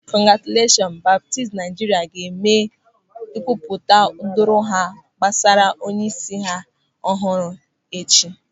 Kongratuleshọn Baptist Naịjirịa ga-eme nkwupụta doro anya gbasara onyeisi ọhụrụ ha echi.